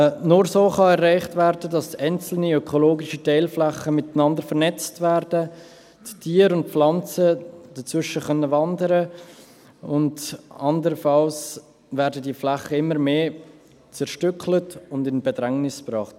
Nur so kann erreicht werden, dass einzelne ökologische Teilflächen miteinander vernetzt werden, die Tiere und Pflanzen dazwischen wandern können und anderenfalls werden diese Flächen immer mehr zerstückelt und in Bedrängnis gebracht.